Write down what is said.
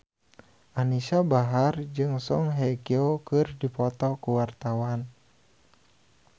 Anisa Bahar jeung Song Hye Kyo keur dipoto ku wartawan